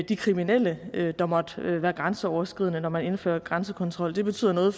de kriminelle der måtte være grænseoverskridende når man indfører grænsekontrol det betyder noget